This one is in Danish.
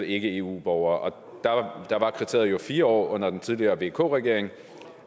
ikke eu borger og der var kriteriet jo fire år under den tidligere vk regering